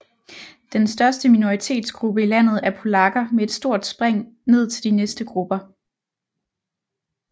Den største minoritetsgruppe i landet er polakker med et stort spring ned til de næste grupper